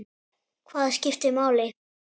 Hvað skiptir máli?